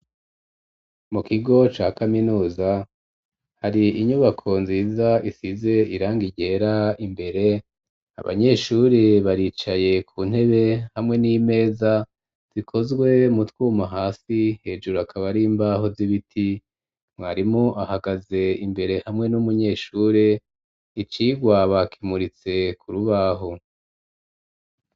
Mu kigo ca kaminuza, hari inyubako nziza isize irangi ryera imbere, abanyeshuri baricaye ku ntebe hamwe n'imeza zikozwe mu twuma hasi, hejuru akaba ari imbaho z'ibiti, mwarimu ahagaze imbere hamwe n'umunyeshure, icigwa bakimuritse ku rubaho.